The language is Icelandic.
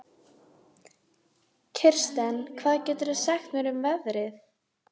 Kirsten, hvað geturðu sagt mér um veðrið?